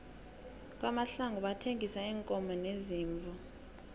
kwamahlangu bathengisa iinkomo neziimvu